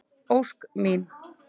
Ósk mín.